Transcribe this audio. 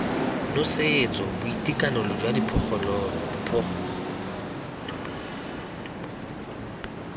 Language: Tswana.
nosetso boitekanelo jwa diphologolo boitekanelo